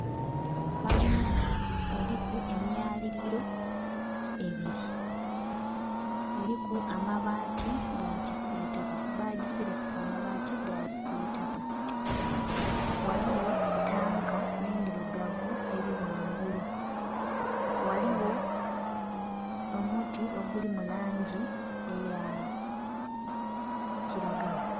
Kalina eriku emyaliliro ebiri bagiserekesa amabaati ga kisitaka, ghaligho tanka endhirugavu eri ghangulu. Ghaligho omuti oguli mu langi eya kiragala.